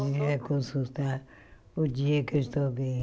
consultar o dia que eu estou bem.